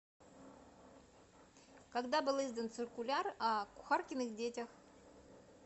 когда был издан циркуляр о кухаркиных детях